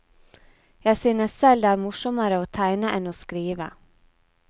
Jeg synes selv det er morsommere å tegne enn å skrive.